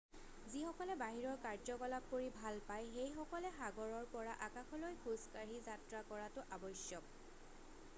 যিসকলে বাহিৰৰ কাৰ্যকলাপ কৰি ভাল পায় সেইসকলে সাগৰৰ পৰা আকাশলৈ খোজ কাঢ়ি যাত্ৰা কৰাটো আৱশ্যক